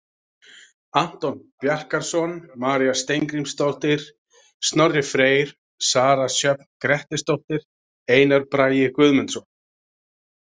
Anton Bjarkarson, María Steingrímsdóttir, Snorri Freyr, Sara Sjöfn Grettisdóttir, Einar Bragi Guðmundsson.